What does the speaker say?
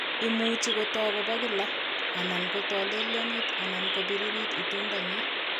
Imuche kotok kobo kila, anan kotolelyonit anan kobiririt itondo nyin